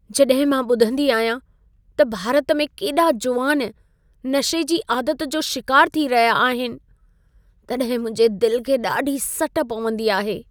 जॾहिं मां ॿुधंदी आहियां त भारत में केॾा जुवान नशे जी आदत जो शिकार थी रहिया आहिनि, तॾहिं मुंहिंजे दिल खे ॾाढी सट पवंदी आहे।